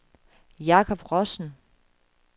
Jakob Rossen